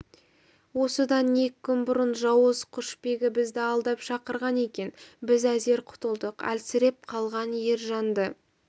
осыдан екі күн бұрын жауыз құшбегі бізді алдап шақырған екен біз әзер құтылдық әлсіреп қалған ержанды